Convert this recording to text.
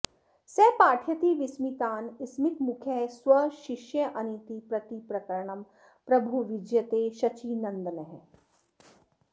स पाठयति विस्मितान् स्मितमुखः स्वशिष्यानिति प्रतिप्रकरणं प्रभुर्विजयते शचीनन्दनः